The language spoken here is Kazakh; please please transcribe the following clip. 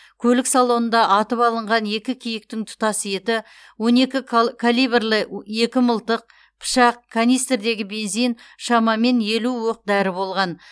көлік салонында атып алынған екі киіктің тұтас еті калибрлі екі мылтық пышақ канистрдегі бензин шамамен елу оқ дәрі болған